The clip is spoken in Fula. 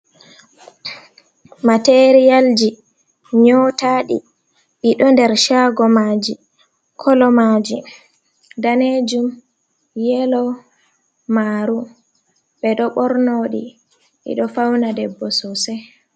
Materiyalji nyotaɗi ɗidoh der shagomaji, kolo maji danejum, yelo, maru. Ɓe do bornodi ɗiɗo fauna ɗeɓbo sosai.